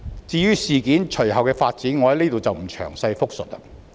至於事件隨後的發展，在此我不詳細複述了。